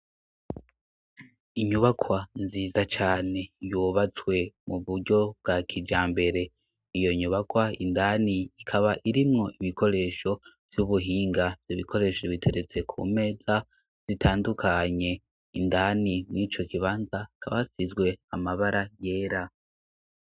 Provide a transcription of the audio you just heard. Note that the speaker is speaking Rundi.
Inyubakwa nziza cane yubatswe mu buryo bwa kija mbere iyo nyubakwa indani ikaba irimwo ibikoresho vy'ubuhinga vy'ibikoresho biteretse ku meza zitandukanye indani mw'ico kibanza kabasizwe amabara yera.